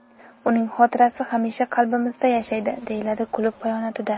Uning xotirasi hamisha qalbimizda yashaydi”, deyiladi klub bayonotida.